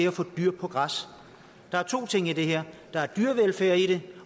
at få dyr på græs der er to ting i det her der er dyrevelfærd i det